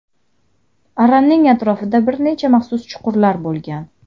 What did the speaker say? Aranning atrofida bir necha maxsus chuqurlar bo‘lgan.